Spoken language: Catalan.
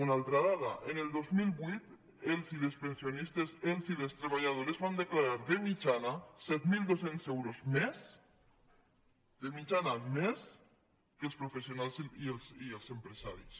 una altra dada el dos mil vuit els i les pensionistes els i les treballadores van declarar de mitjana set mil dos cents euros més de mitjana més que els professionals i els empresaris